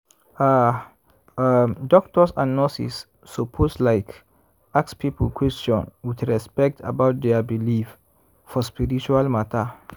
ah! um doctors and nurses lsuppose like ask people question with respect about dia believe for spiritual matter.